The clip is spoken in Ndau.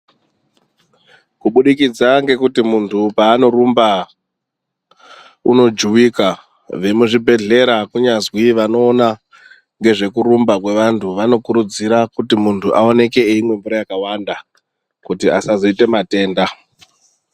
Kubudikidza ngekuti muntu paanorumba, unojuwika, vemuzvibhedhlera kunyazi vanoona ngezvekurumba kwevantu, vanokurudzira kuti muntu aonekwe eimwe mvura yakawanda kuti asazoite matenda.